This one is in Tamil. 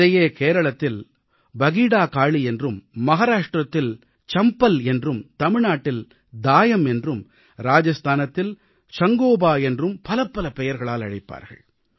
இதையே கேரளத்தில் பகீடாகாளீ என்றும் மகாராஷ்ட்ரத்தில் சம்ப்பல் என்றும் தமிழ்நாட்டில் தாயம் என்றும் ராஜஸ்தானத்தில் சங்காபோ என்றும் பலபலப் பெயர்களால் அழைப்பார்கள்